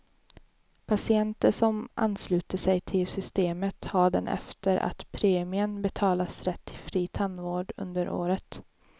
Patienter som ansluter sig till systemet har det efter att premien betalats rätt till fri tandvård under året.